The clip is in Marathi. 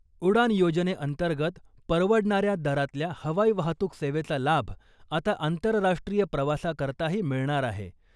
उडान' योजनेअंतर्गत, परवडणाऱ्या दरातल्या हवाई वाहतूक सेवेचा लाभ आता आंतरराष्ट्रीय प्रवासाकरताही मिळणार आहे .